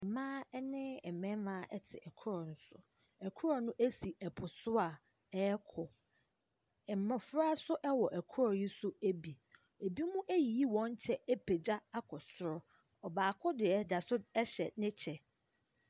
Mmaa ne mmarima te koroɔ no so. Koroɔ no si po so a ɛrekɔ. Mmɔfra nso wɔ koroɔ no so bi. Ebinom ayiyi wɔn kyɛ apagya akɔ soro. Ɔbaako deɛ da so hyɛ ne kyɛ.